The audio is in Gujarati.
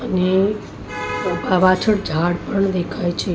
અને પા પાછળ ઝાડ પણ દેખાય છે.